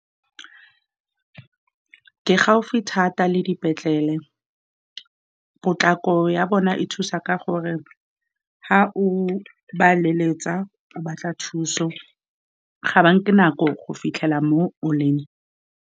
Ke gaufi thata le dipetlele, potlako ya bona e thusa ka gore fa o ba leletsa o batla thuso, ga ba nke nako go fitlhela mo o leng.